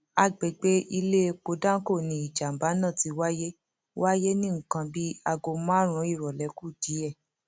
àgbègbè iléepo danco ni ìjàmbá náà ti wáyé wáyé ní nǹkan bíi aago márùnún ìrọlẹ kù díẹ